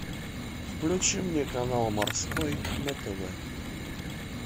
включи мне канал морской на тв